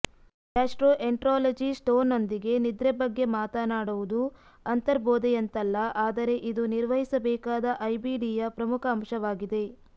ಗ್ಯಾಸ್ಟ್ರೋಎನ್ಟ್ರಾಲಜಿಸ್ಟ್ನೊಂದಿಗೆ ನಿದ್ರೆ ಬಗ್ಗೆ ಮಾತನಾಡುವುದು ಅಂತರ್ಬೋಧೆಯಂತಲ್ಲ ಆದರೆ ಇದು ನಿರ್ವಹಿಸಬೇಕಾದ ಐಬಿಡಿಯ ಪ್ರಮುಖ ಅಂಶವಾಗಿದೆ